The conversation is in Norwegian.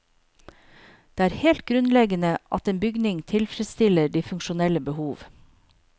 Det er helt grunnleggende at en bygning tilfredsstiller de funksjonelle behov.